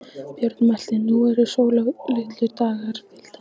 Björn mælti: Nú eru sólarlitlir dagar, piltar!